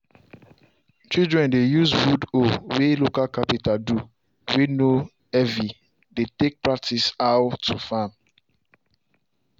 children dey use wood hoe way local carpenter do way no heavy dey take practice how to farm.